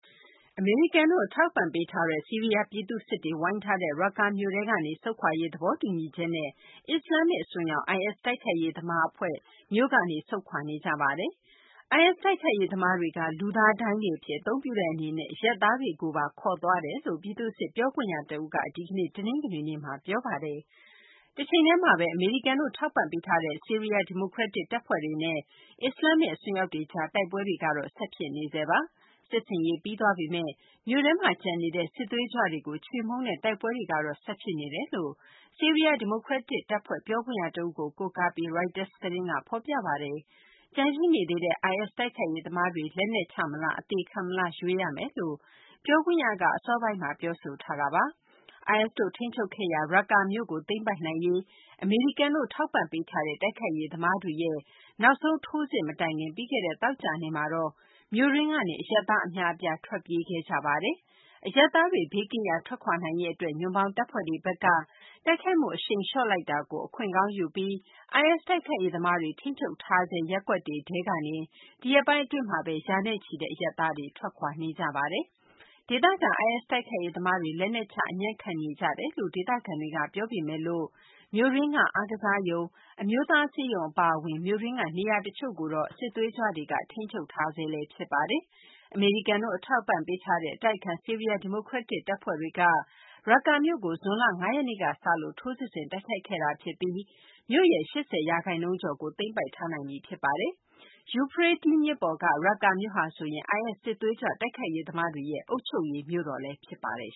အမေရိကန်တို့ အထောက်အပံ့ပေးထားတဲ့ ဆီးရီးယား ပြည်သူ့စစ်တွေ ဝိုင်းထားတဲ့ ရက္ကာမြို့ထဲကနေ ဆုတ်ခွာရေး သဘောတူညီချက်နဲ့ အစ္စလာမ္မစ် အစွန်းရောက် IS တိုက်ခိုက်ရေးသမား အဖွဲ့ ဘေးလွတ်ရာ ရွှေ့ပြောင်းခဲ့ကြပါတယ်။ IS တိုက်ခိုက်ရေးသမားတွေက လူသားဒိုင်းတွေ အဖြစ် အသုံးပြုတဲ့ အနေနဲ့ အရပ်သားတွေကိုလည်း ခေါ်ယူသွားတယ်လို့ ပြည်သူ့စစ် ပြောခွင့်ရ တဦးက ဒီကနေ့ တနင်္ဂနွေနေ့မှာ ပြောပါတယ်။ တချိန်တည်းမှာဘဲ အမေရိကန်တို့ ထောက်ပံ့ပေးထားတဲ့ ဆီးရီးယား ဒီမိုကရက်တစ် တပ်ဖွဲ့တွေနဲ့ အစ္စလာမ္မစ် အစွန်းရောက်တွေကြား တိုက်ပွဲတွေ ဆက်ဖြစ်နေဆဲပါ။ စစ်ဆင်ရေး ပြီးသွားပေမယ့် မြို့ထဲမှာ ကျန်နေတဲ့ စစ်သွေးကြွတွေကို ချေမှုန်းတဲ့ တိုက်ပွဲတွေကတော့ ဆက်ဖြစ်နေတယ်လို့ ဆီးရီးယား ဒီမိုကရက်တစ် တပ်ဖွဲ့ပြောခင့်ရ တဦးကို ကိုးကားပြီး Reuters သတင်းက ဖော်ပြပါတယ်။ ကျန်ရှိနေသေးတဲ့ IS တိုက်ခိုက်ရေးသမားတွေ လက်နက်ချမလား အသေခံမလား ရွေးရမယ်လို့ ပြောခွင့်ရက အစောပိုင်းမှာ ပြောဆိုထားတာပါ။ IS တို့ ထိန်းချုပ်ခဲ့ရာ ရက္ကာမြို့ကို သိမ်းပိုက်နိုင်ရေး အမေရိကန်တို့ ထောက်ပံ့ပေးထားတဲ့ တိုက်ခိုက်ရေးသမားတွေရဲ့ နောက်ဆုံး ထိုးစစ်မတိုင်ခင် ပြီးခဲ့တဲ့ သောကြာနေ့မှာတော့ မြို့တွင်းကနေ အရပ်သား အများအပြား ထွက်ပြေးခဲ့ကြပါတယ်။ အရပ်သားတွေ ဘေးကင်းရာ ထွက်ခွာနိုင်ရေး အတွက် ညွှန့်ပေါင်းတပ်ဖွဲ့တွေဘက်က တိုက်ခိုက်မှု အရှိန်လျှော့လိုက်တာကို အခွင့်ကောင်းယူပြီး IS တိုက်ခိုက်ရေးသမားတွေ ထိန်းချုပ်ထားဆဲ ရပ်ကွက်တွေထဲကနေ ဒီရက်ပိုင်း အတွင်းမှာဘဲ ရာနဲ့ချီတဲ့ အရပ်သားတွေ ထွက်ခွာနေကြပါတယ်။ ဒေသခံ IS တိုက်ခိုက်ရေးသမားတွေ လက်နက်ချ အညံ့ခံနေကြတယ်လု့ိ ဒေသခံတွေက ပြောပေမယ့် မြို့တွင်းက အားကစားရုံ၊ အမျိုးသား ဆေးရုံ အပါအဝင် မြို့တွင်းက နေရာတချို့ကို စစ်သွေးကြွတွေ ထိန်းချုပ်ထားဆဲ ဖြစ်ပါတယ်။ အမေရိကန်တိ့ု အထောက်အပံံ့ ပေးထားတဲ့ အတိုက်အခံ ဆီးရီးယား ဒီမိုကရက်တစ် တပ်ဖွဲ့တွေက ရက္ကာမြို့ကို ဇွန်လ ၅ ရက်နေ့က စလို့ ထိုးစစ်ဆင် တိုက်ခိုက်ခဲ့တာ ဖြစ်ပြီး မြို့ရဲ့ ၈၀ ရာခိုင်နှုန်းကျော်ကို သိမ်းပိုက်ထားနိုင်ပြီ ဖြစ်ပါတယ်။ ယူဖရေးတီး ဖြစ်ပေါ်က ရက္ကာမြို့ဟာဆိုရင် IS စစ်သွေးကြွ တိုက်ခိုက်ရေးသမားတွေရဲ့ အုပ်ချုပ်ရေး မြို့တော်လည်း ဖြစ်ပါတယ်